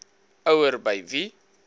ouer by wie